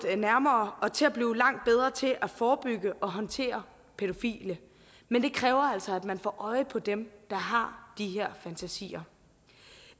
nærmere og til at blive langt bedre til at forebygge og håndtere pædofile men det kræver altså at man får øje på dem der har de her fantasier